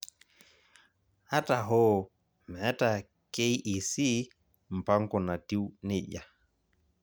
Ata hoo, meeta KEC mpango natiu nejia.